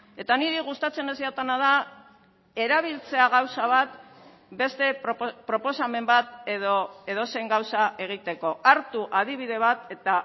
eta niri gustatzen ez jatana da erabiltzea gauza bat beste proposamen bat edo edozein gauza egiteko hartu adibide bat eta